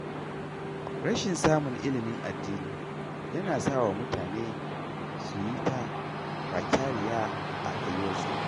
Rashin samun ilimin addini yana sawa mutane su yi ta kwakyariya a rayuwarsu.